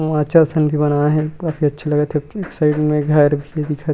उहा अच्छा असन के बना हे काफी अच्छा लगत हे पीछे साइड में घर भी दिखत।